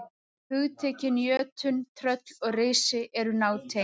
Hugtökin jötunn, tröll og risi eru nátengd.